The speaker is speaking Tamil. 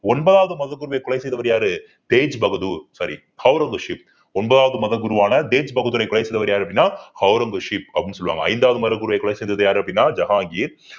ஒன்பதாவது மதகுருவை கொலை செய்தவர் யாரு தேஜ் பகதூர் சாரி ஔரங்கசீப் ஒன்பதாவது மதகுருவான தேஜ் பகதூரை கொலை செய்தவர் யாரு அப்படின்னா ஔரங்கசீப் அப்படின்னு சொல்லுவாங்க ஐந்தாவது மதகுருவை கொலை செய்தது யாரு அப்படின்னா ஜஹாங்கீர்.